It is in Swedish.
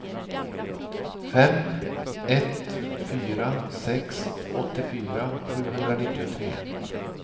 fem ett fyra sex åttiofyra sjuhundranittiotre